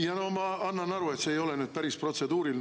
Jaa, no ma annan aru, et see ei ole nüüd päris protseduuriline.